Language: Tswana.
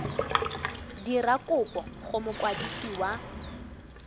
dira kopo go mokwadisi wa